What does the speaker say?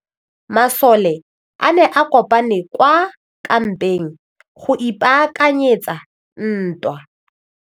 Masole a ne a kopane kwa kampeng go ipaakanyetsa ntwa.